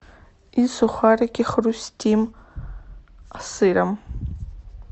и сухарики хрустим с сыром